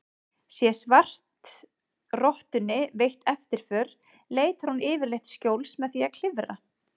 Sé svartrottunni veitt eftirför leitar hún yfirleitt skjóls með því að klifra.